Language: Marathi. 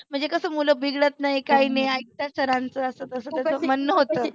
म्हणजे कसं मुलं बिघडत नाही काही नाही ऐकतात sir च असं त्याच म्हणनं होतं.